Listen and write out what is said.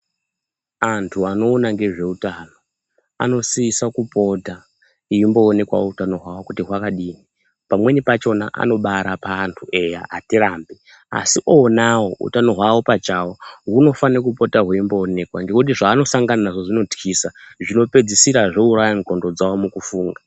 Vantu vanoona ngezveutano anosisa kupota eimboonekwavo utano hwake kuti hwakadini pamweni pachona anobarapa antu eya hatirambi. Asi onavo utano hwavo pachavoo hunofanira kupota hweimboonekwa nekuti zvaanosangana nazvo zvinotwisa, zvinopedzisira zvouraya ndxondo dzavo mukufunga.